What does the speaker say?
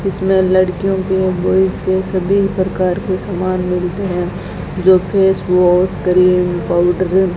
इसमें लड़कियों के बॉयज के सभी प्रकार के सामान मिलते हैं जो फेस वॉश क्रीम पाउडर --